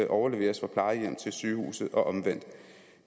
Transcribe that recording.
overleveres fra plejehjemmet til sygehuset og omvendt